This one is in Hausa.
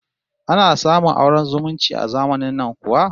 Ana samun auren zumunci a zamanin nan kuwa?